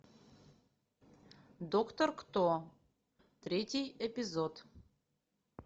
доктор кто третий эпизод